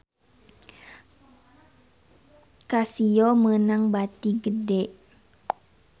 Casio meunang bati gede